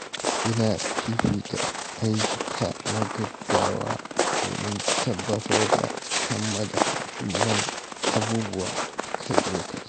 Ina fifita ayyuka na gaugawa domin tabbatar da kammala muhimman abubuwa a kan lokaci.